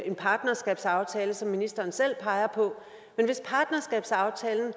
en partnerskabsaftale som ministeren selv peger på men hvis partnerskabsaftalen